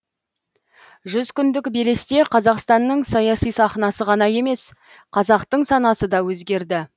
жүз күндік белесте қазақстанның саяси сахнасы ғана емес қазақтың санасы да өзгерді